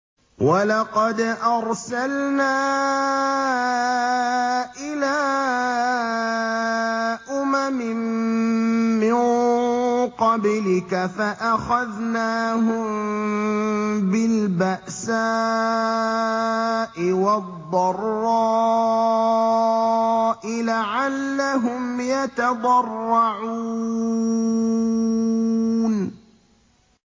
وَلَقَدْ أَرْسَلْنَا إِلَىٰ أُمَمٍ مِّن قَبْلِكَ فَأَخَذْنَاهُم بِالْبَأْسَاءِ وَالضَّرَّاءِ لَعَلَّهُمْ يَتَضَرَّعُونَ